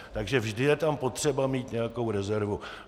Takže vždy je tam potřeba mít nějakou rezervu.